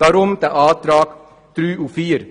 Daher die Anträge 3 und 4.